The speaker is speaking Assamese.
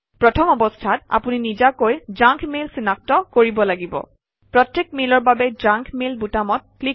প্ৰথম অৱস্থাত আপুনি নিজাকৈ জাংক মেইল চিনাক্ত কৰিব লাগিব প্ৰত্যেক মেইলৰ বাবে জাংক মেইল বুটামত ক্লিক কৰি